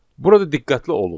Burada diqqətli olun.